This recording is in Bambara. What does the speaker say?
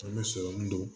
An bɛ sɔrɔmu don